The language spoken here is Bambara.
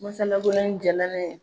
Masalabolo in diyala na ye